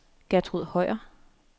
Gertrud Høyer